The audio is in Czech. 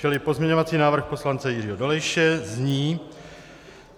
Čili pozměňovací návrh poslance Jiřího Dolejše zní: